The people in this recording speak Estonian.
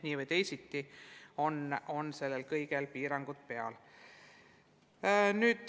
Nii või teisiti on sellel kõigel piirangud peal.